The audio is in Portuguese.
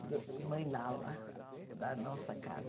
Mãe Lala, da nossa casa.